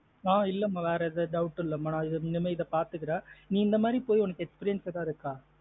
ஆஹ் இல்லாம வேற ஏதும் doubt இல்லமா இனிமே இத பாத்துக்கிறேன் நீ இந்த மாத்ரி போய் உனக்கு experience எத இருக்க?